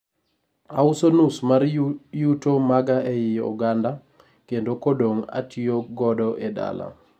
auso nus mar yuto maga ei oganda kendo kodong atiyo kodo e dala